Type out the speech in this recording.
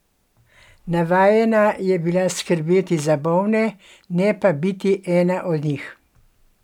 Navajena je bila skrbeti za bolne, ne pa biti ena od njih.